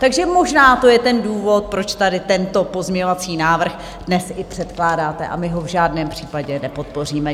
Takže možná to je ten důvod, proč tady tento pozměňovací návrh dnes i předkládáte - a my ho v žádném případě nepodpoříme.